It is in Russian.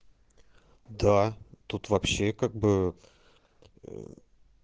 да тут вообще как бы